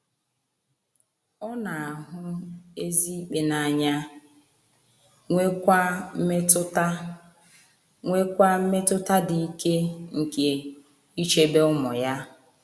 Ọ “ na - ahụ ezi ikpe n’anya, ” nweekwa mmetụta ” nweekwa mmetụta dị ike nke ichebe ụmụ ya.